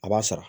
A b'a sara